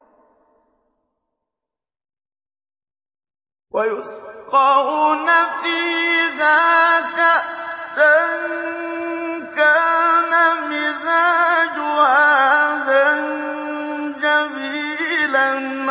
وَيُسْقَوْنَ فِيهَا كَأْسًا كَانَ مِزَاجُهَا زَنجَبِيلًا